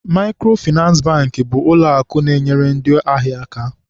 Maịkrofịnansị Bankị bụ ụlọakụ na-enyere ndị ahịa aka.